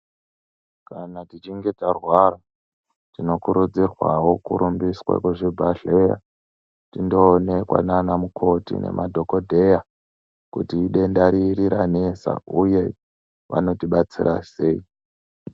Kana tichinge tarwara tinokurudzirwawo kurumbiswe kuzvibhadhleya tindoonekwa nana mukoti nemadhokodheya kuti idenda riri ranesa uye vanotibatsira sei.